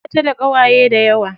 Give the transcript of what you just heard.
Bata da ƙawaye dayawa.